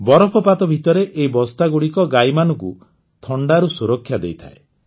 ବରଫପାତ ଭିତରେ ଏହି ବସ୍ତାଗୁଡ଼ିକ ଗାଈମାନଙ୍କୁ ଥଣ୍ଡାରୁ ସୁରକ୍ଷା ଦେଇଥାଏ